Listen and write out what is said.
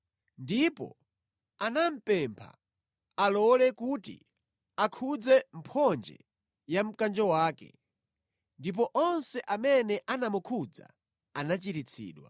Ndipo anamupempha alole kuti akhudze mphonje ya mkanjo wake, ndipo onse amene anamukhudza anachiritsidwa.